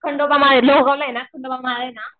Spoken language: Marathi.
खंडोबा माळ मोहगाव ला ये ना खंडोबा